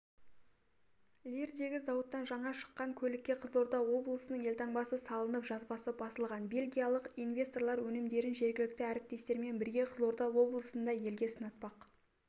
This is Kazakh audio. лирдегі зауыттан жаңа шыққан көлікке қызылорда облысының елтаңбасы салынып жазбасы басылған бельгиялық инвесторлар өнімдерін жергілікті әріптестермен бірге қызылорда облысында елге сынатпақ